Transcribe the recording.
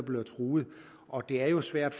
bliver truet og det er jo svært